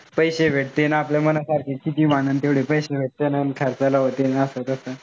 पैशे भेटीनं आपल्या मनासारखं कितीही म्हणन तेव्हडे पैशे भेटतीन. अन खर्चायला असं न तस.